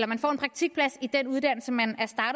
man får en praktikplads i den uddannelse man